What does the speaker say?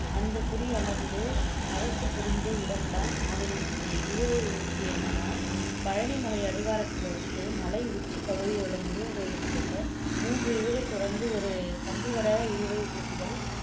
அந்தக் குடி அமர்ந்து அரசு புரிந்த இடம் தான் ஆவினன்குடி இழுவை ஊர்தி என்னன்னா பழனி மலை அடிவாரத்திலிருந்து மலை உச்சி பகுதியோட முருகன்கோவிலுக்கு செல்ல மூன்று இழுவைத் தொடருந்து ஒரு கம்பிவட இழுவை ஊர்திகள்